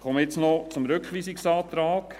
Ich komme nun noch zum Rückweisungsantrag: